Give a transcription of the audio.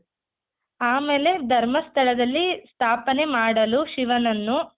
ಆಮೇಲೆ ಧರ್ಮಸ್ಥಳದಲ್ಲಿ ಸ್ಥಾಪನೆ ಮಾಡಲು ಶಿವನನ್ನು